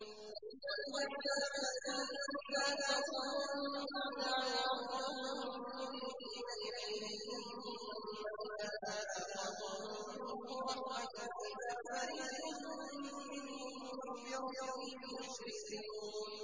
وَإِذَا مَسَّ النَّاسَ ضُرٌّ دَعَوْا رَبَّهُم مُّنِيبِينَ إِلَيْهِ ثُمَّ إِذَا أَذَاقَهُم مِّنْهُ رَحْمَةً إِذَا فَرِيقٌ مِّنْهُم بِرَبِّهِمْ يُشْرِكُونَ